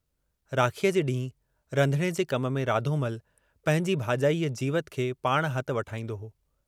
राखीअ जे डींहुं रधणे जे कम में राधोमल पंहिंजी भाजाई जीवत खे पाण हथु वठाईन्दो हो।